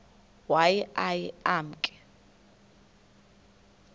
waye aye emke